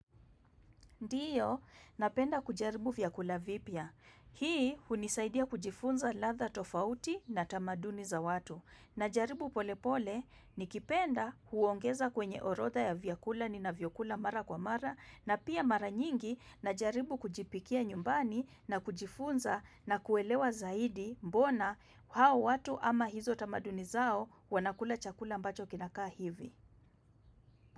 Ndiyo, napenda kujaribu vyakula vipya. Hii unisaidia kujifunza ladha tofauti na tamaduni za watu. Najaribu pole pole nikipenda huongeza kwenye orodha ya vyakula ninavyokula mara kwa mara na pia mara nyingi najaribu kujipikia nyumbani na kujifunza na kuelewa zaidi mbona hao watu ama hizo tamaduni zao wanakula chakula ambacho kinakaa hivi.